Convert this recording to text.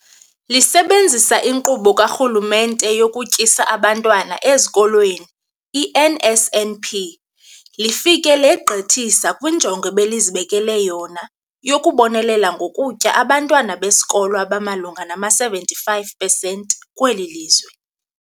Lisebenzisa iNkqubo kaRhulumente yokuTyisa Abantwana Ezikolweni, i-NSNP, lifike legqithisa kwinjongo ebelizibekele yona yokubonelela ngokutya abantwana besikolo abamalunga nama-75 pesenti kweli lizwe.